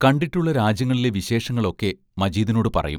കണ്ടിട്ടുള്ള രാജ്യങ്ങളിലെ വിശേഷങ്ങളൊക്കെ മജീദിനോടു പറയും.